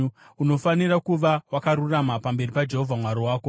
Unofanira kuva wakarurama pamberi paJehovha Mwari wako.